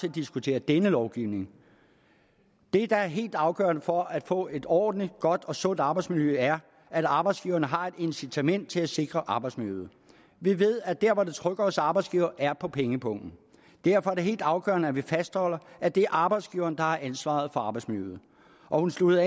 at diskutere denne lovgivning det der er helt afgørende for at få et ordentligt godt og sundt arbejdsmiljø er at arbejdsgiveren har et incitament til at sikre arbejdsmiljøet vi ved at der hvor det trykker hos arbejdsgiver er på pengepungen derfor er det helt afgørende at vi fastholder at det er arbejdsgiveren der har ansvaret for arbejdsmiljøet hun sluttede